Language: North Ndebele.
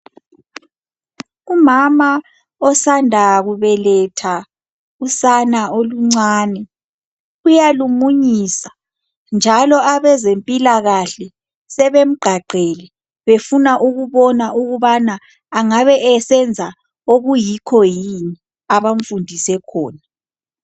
Umama osanda kubeletha usana oluncane, uyalumunyisa njalo abezempilakahle sebemgqagqele befuna ukubona ukubana angabe esenza okuyikho yini abamfundise khona.